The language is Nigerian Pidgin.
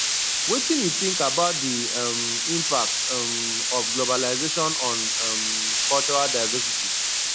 wetin you think about di um impact um of globalization on um cultural divcersity